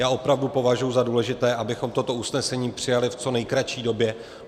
Já opravdu považuji za důležité, abychom toto usnesení přijali v co nejkratší době.